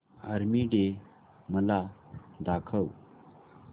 army Day मला दाखव